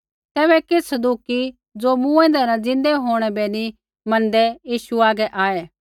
तैबै किछ़ सदूकी ज़ो मूँएंदै न ज़िन्दा होंणै बै नी मैनदै यीशुऐ हागै आऐ